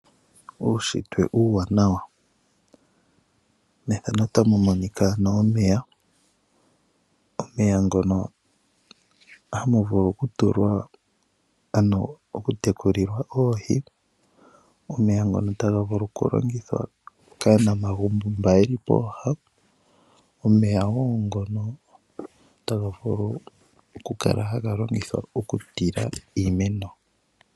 Uushitwe uuwanawa, methano otamu monika ano omeya. Omeya ngono hamu vulu okutulwa ano oku tekulilwa oohi, omeya ngono taga vulu okulongithwa kaanamagumbo mba yeli pooha. Omeya wo ngono taga vulu oku kala haga longithwa oku tila iimeno.